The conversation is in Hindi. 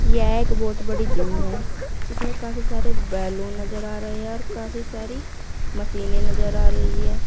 यह एक बहोत बड़ी जिम है इसमें काफी सारे बैलून नजर आ रहे हैं और काफी सारी मशीने नजर आ रही है।